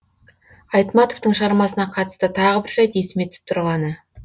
айтматовтың шығармасына қатысты тағы бір жайт есіме түсіп тұрғаны